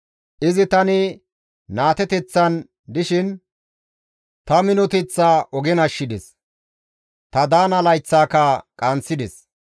Izi tani naateteththan dishin, izi ta minoteththaa ogen ashshides; ta daana layththaaka qaanththides.